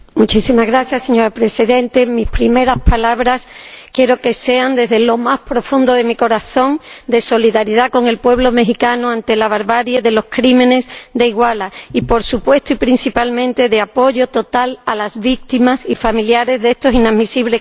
Señora Presidenta, mis primeras palabras quiero que sean, desde lo más profundo de mi corazón, de solidaridad con el pueblo mexicano ante la barbarie de los crímenes de Iguala, y, por supuesto y principalmente, de apoyo a las víctimas y familiares de estos inadmisibles crímenes.